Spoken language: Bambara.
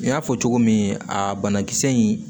N y'a fɔ cogo min a banakisɛ in